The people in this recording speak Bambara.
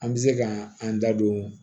An bɛ se ka an da don